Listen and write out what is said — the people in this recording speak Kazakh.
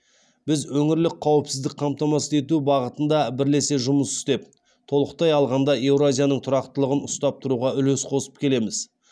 біз өңірлік қауіпсіздік қамтамасыз ету бағытында бірлесе жұмыс істеп толыққтай алғанда еуразияның тұрақтылығын ұстап тұруға үлес қосып келеміз